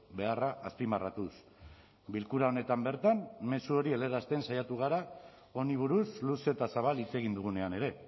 beharra azpimarratuz bilkura honetan bertan mezu hori helarazten saiatu gara honi buruz luze eta zabal hitz egin dugunean ere